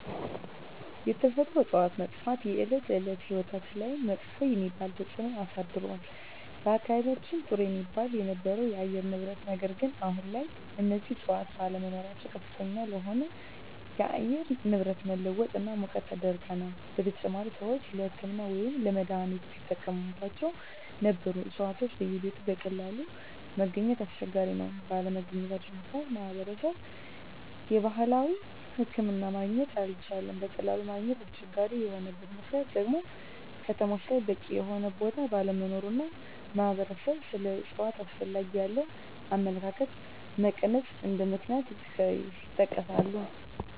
የተፈጥሮ እፅዋት መጥፍት የእለት እለት ህይወታችን ላይመጥፎ የሚባል ተፅእኖ አሳድሮል በአካባቢየችን ጥሩ የሚባል የነበረው የአየር ንብረት ነገር ግን አሁን ላይ እነዚህ እፅዋት ባለመኖራቸው ከፍተኛ ለሆነ የአየር ንብረት መለወጥ እና ሙቀት ተዳርገናል : በተጨማሪም ሰወች ለህክምና ወይም ለመድሐኒትነት ሲጠቀሞቸው ነበሩ እፅዋቶች በየቤቱ በቀላሉ ማገኘት አስቸጋሪ ነው ባለመገኘታቸው ምክንያት ማህበረሰብ የባህላዊ ሕክምና ማግኘት አልቻለም በቀላሉ ማግኘት አስቸጋሪ የሆነበት ምክንያት ደግሞ ከተሞች ላይ በቂ የሆነ ቦታ ባለመኖሩ እና ማህበረሰብ ስለ እፅዋት አስፈላጊነት ያለው አመለካከት መቀነስ እንደ ምክንያት ይጠቀሳሉ።